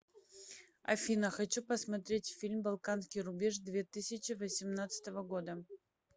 афина хочу посмотреть фильм балканский рубеж две тысячи восемнадцатого года